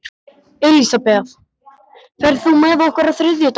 Elisabeth, ferð þú með okkur á þriðjudaginn?